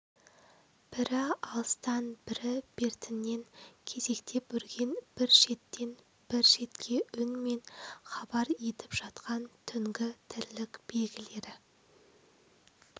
бірі алыстан бірі бертіннен кезектеп үрген бір шеттен бір шетке үнмен хабар етіп жатқан түнгі тірлік белгілері